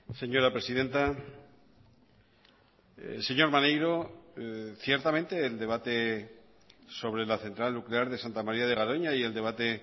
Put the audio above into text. señora presidenta señor maneiro ciertamente el debate sobre la central nuclear de santa maría de garoña y el debate